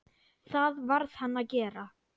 Það varð hann að gera.